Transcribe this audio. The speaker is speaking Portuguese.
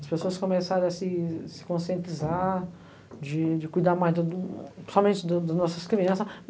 As pessoas começarem a se se conscientizar de de cuidar mais da do somente da das nossas crianças.